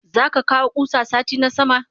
Zaka kawo kusa sati na sama?